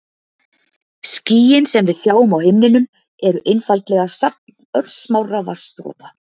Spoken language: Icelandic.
Skýin sem við sjáum á himninum eru einfaldlega safn örsmárra vatnsdropa.